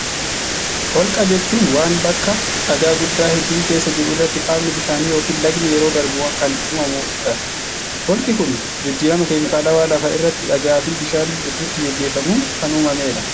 Holqa jechuun waan bakka dhagaa guddaa hedduun keessa jiru irratti qaamni bishaanii yokin lagni yeroo darbu kan uumamuu dha. Holqi kun jijjirama keemikaalawaa lafa irratti dhagaa fi bishaan gidduutti gaggeeffamuun kan uumamee dha.